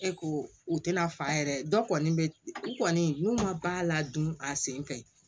E ko u tɛna fa yɛrɛ dɔ kɔni bɛ u kɔni n'u ma baa ladon a sen fɛ